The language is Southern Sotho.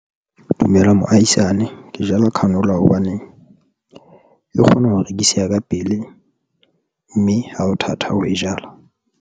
Dumela moahisane ke jala canola hobaneng e kgona ho rekiseha ka pele mme ha ho thata ho e jala.